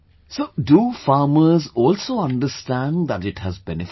So do farmers also understand that it has benefits